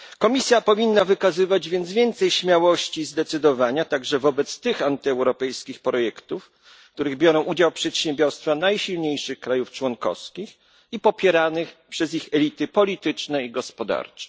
Komisja powinna wykazywać zatem więcej śmiałości i zdecydowania także wobec tych antyeuropejskich projektów, w których biorą udział przedsiębiorstwa najsilniejszych krajów członkowskich i które popierane są przez ich elity polityczne i gospodarcze.